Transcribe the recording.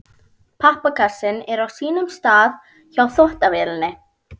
Pappakassinn er á sínum stað hjá þvottavélinni.